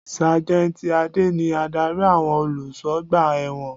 Sájẹ́ntì Adé ni Ádárì àwọn olùsọgbà ẹ̀wọ̀n.